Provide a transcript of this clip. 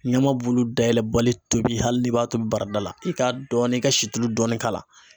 Ɲamabulu dayɛlɛ bali tobi hali ni b'a tobi barada la i k'a dɔɔni i ka situlu dɔɔni k'a la .